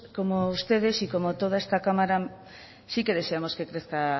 como ustedes y como toda esta cámara sí que deseamos que crezca